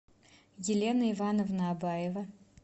елена ивановна абаева